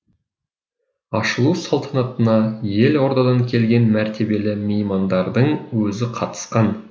ашылу салтанатына елордадан келген мәртебелі меймандардың өзі қатысқан